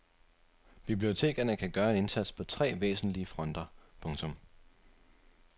Bibliotekerne kan gøre en indsats på tre væsentlige fronter. punktum